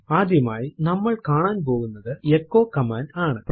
ആദ്യമായി നമ്മൾ കാണാൻ പോകുന്നത് എച്ചോ കമാൻഡ് ആണ്